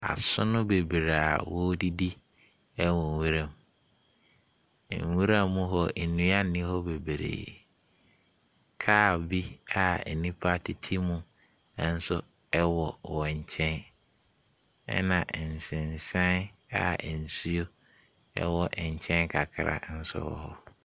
Asono bebree a wɔredidi ɛwɔ nwuram. Nwura mu hɔ, nnua nni hɔ bebree. Kaa bi a nnipa tete mu nso ɛwɔ wɔn nkyɛn. Ɛna nsensan a nsuo kakra ɛwɔ ne nkyɛn nso ɛwɔ hɔ.